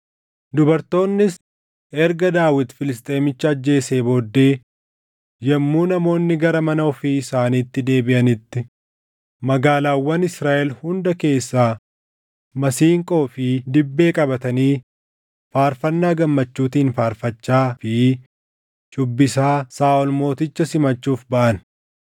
Dubartoonnis erga Daawit Filisxeemicha ajjeesee booddee yommuu namoonni gara mana ofii isaaniitti deebiʼanitti magaalaawwan Israaʼel hunda keessaa masiinqoo fi dibbee qabatanii faarfannaa gammachuutiin faarfachaa fi shuubbisaa Saaʼol mooticha simachuuf baʼan.